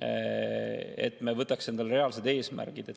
me võtaks endale reaalsed eesmärgid.